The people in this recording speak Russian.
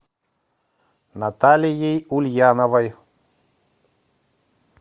наталией ульяновой